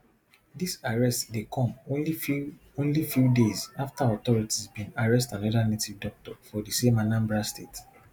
dis arrest dey come only few only few days afta authorities bin arrest anoda native doctor for di same anambra state